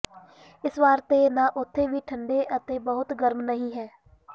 ਇਸ ਵਾਰ ਤੇ ਨਾ ਉੱਥੇ ਵੀ ਠੰਡੇ ਅਤੇ ਬਹੁਤ ਗਰਮ ਨਹੀ ਹੈ